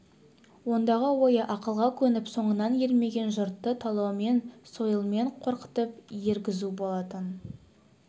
ондағы ойы ақылға көніп соңынан ермеген жұртты талаумен сойылмен қорқытып ергізу болатын